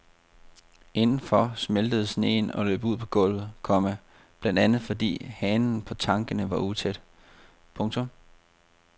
Indenfor smeltede sneen og løb ud på gulvet, komma blandt andet fordi hanerne på tankene var utætte. punktum